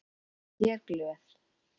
Ég er glöð.